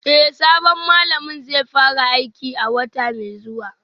Eh sabon malamin zai fara aiki a wata mai zuwa